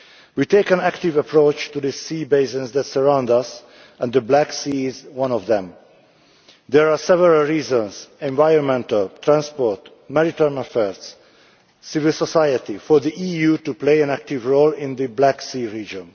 We take an active approach to the sea basins that surround us, and the Black Sea is one of them. There are several reasons environmental, transport, maritime affairs, civil society for the EU to play an active role in the Black Sea region.